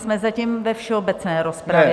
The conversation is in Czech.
Jsme zatím ve všeobecné rozpravě.